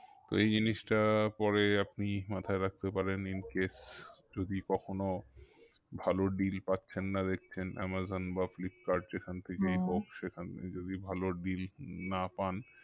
তো এই জিনিসটা পরে আপনি মাথায় রাখতে পারেন incase যদি কখনো ভালো deal পাচ্ছেন না দেখছেন আমাজন বা ফ্লিপকার্ট যেখান হোক সেখানে যদি ভালো deal না পান